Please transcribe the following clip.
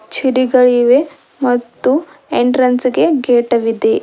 ಚಿಡಿಗಳಿವೆ ಮತ್ತು ಎಂಟ್ರನ್ಸ್ ಗೆ ಗೇಟ ವಿದೆ.